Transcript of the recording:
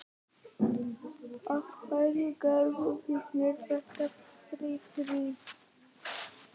Af hverju gerðuð þið mér þetta, Friðrik?